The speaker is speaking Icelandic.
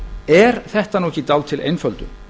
er þetta ekki dálítil einföldun